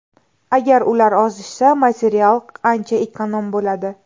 Agar ular ozishsa material ancha ekonom bo‘ladi.